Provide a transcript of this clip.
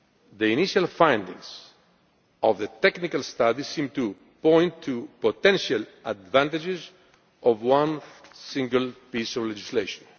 The initial findings of the technical study seem to point to potential advantages of a single piece of legislation.